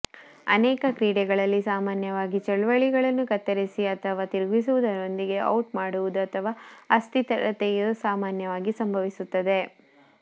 ಅನೇಕ ಕ್ರೀಡೆಗಳಲ್ಲಿ ಸಾಮಾನ್ಯವಾಗಿ ಚಳುವಳಿಗಳನ್ನು ಕತ್ತರಿಸಿ ಅಥವಾ ತಿರುಗಿಸುವುದರೊಂದಿಗೆ ಔಟ್ ಮಾಡುವುದು ಅಥವಾ ಅಸ್ಥಿರತೆಯು ಸಾಮಾನ್ಯವಾಗಿ ಸಂಭವಿಸುತ್ತದೆ